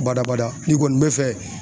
Badabada n'i kɔni bɛ fɛ